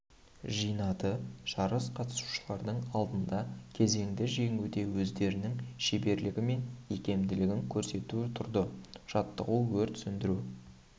жинады жарыс қатысушылардың алдында кезеңді жеңуде өздерінің шеберлігі мен икемділігін көрсету тұрды жаттығу өрт сөндіру